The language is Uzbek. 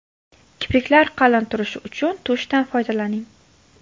Kipriklar qalin turishi uchun tushdan foydalaning.